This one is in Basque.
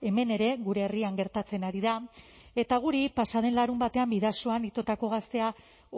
hemen ere gure herrian gertatzen ari da eta guri pasa den larunbatean bidasoan itotako gaztea